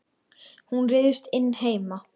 Hún ryðst inn heima.